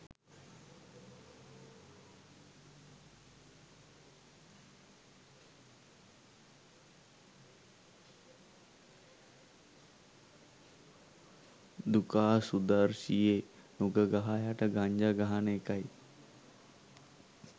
දුකා සුදර්ශියෙ නුග ගහ යට ගංජා ගහන එකයි